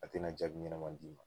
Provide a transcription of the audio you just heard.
A tina jaabi ɲɛnama d'i ma